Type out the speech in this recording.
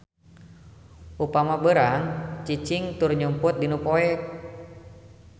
Upama beurang mah cicing tur nyumput dinu poek.